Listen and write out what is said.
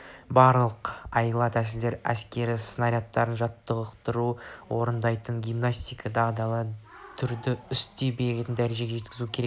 барлық айла-тәсілдерді әскер снарядтарда жаттығу орындайтын гимнасттай дағдылы түрде істей беретіндей дәрежеге жеткізу керек